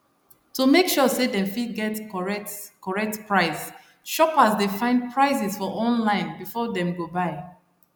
to make sure say dem fit get correct correct price shoppers dey find prices for online before dem go buy